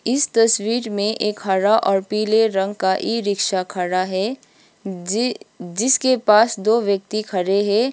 इस तस्वीर में एक हरा और पीले रंग का ई_रिक्शा खड़ा है जि जिसके पास दो व्यक्ति खड़े है।